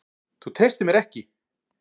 Þú treystir mér ekki!